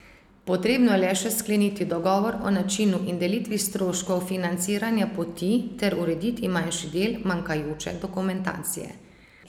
Potrebno je le še skleniti dogovor o načinu in delitvi stroškov financiranja poti ter urediti manjši del manjkajoče dokumentacije.